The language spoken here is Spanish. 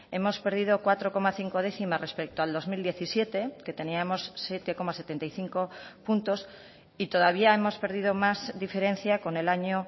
hemos perdido cuatro coma cinco décimas respecto al dos mil diecisiete que teníamos siete coma setenta y cinco puntos y todavía hemos perdido más diferencia con el año